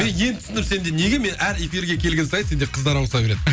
енді түсіндім сенде неге мен әр эфирге келген сайын сенде қыздар ауыса береді